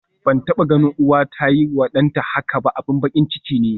Ban taba ganin uwa ta yiwa danta haka ba, abin bakin ciki ne.